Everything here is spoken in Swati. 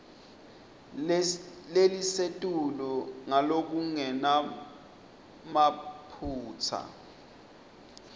lelisetulu ngalokungenamaphutsa